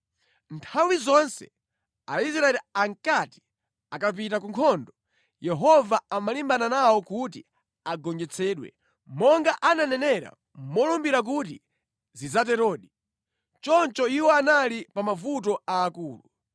Nthawi zonse Aisraeli ankati akapita ku nkhondo, Yehova amalimbana nawo kuti agonjetsedwe, monga ananenera molumbira kuti zidzaterodi. Choncho iwo anali pa mavuto aakulu.